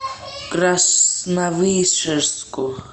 красновишерску